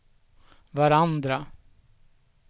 varandra